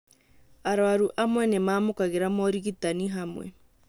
Arwaru amwe nĩ mamũkagĩra morigitani hamwe